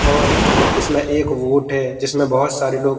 और इसमें एक वोट है जिसमें बहुत सारे लोग--